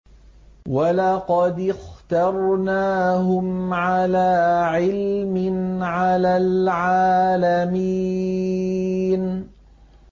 وَلَقَدِ اخْتَرْنَاهُمْ عَلَىٰ عِلْمٍ عَلَى الْعَالَمِينَ